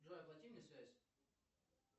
джой оплати мне связь